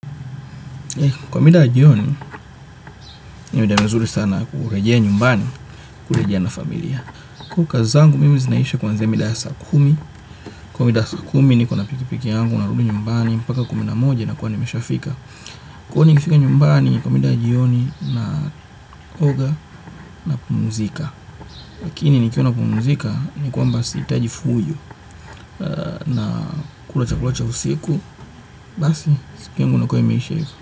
Kwa mida ya jioni, ni mida mizuri sana kurejea nyumbani, kurejea na familia. Kazi zangu, mimi zinaisha kuanzia mida ya saa kumi. Kwa mida ya saa kumi, nikona pikipiki yangu, narudi nyumbani, mpaka kumi na moja nakua nimeshafika. Kwa hiyo nikifika nyumbani, kwa mida ya jioni, naoga, napumzika. Lakini, nikiwa napumzika, ni kwamba siitaji fujo, nakula chakula cha usiku, basi, siku yangu inakua imeisha hivo.